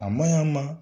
A maɲ'a ma